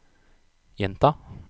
gjenta